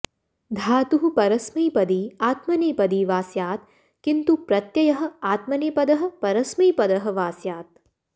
धातुः परस्मैपदी आत्मनेपदी वा स्यात् किन्तु प्रत्ययः आत्मनेपदः परस्मैपदः वा स्यात्